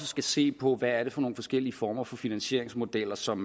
skal se på hvad det er for nogle forskellige former for finansieringsmodeller som